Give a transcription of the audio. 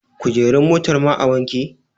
kujerun motar ma a wanke?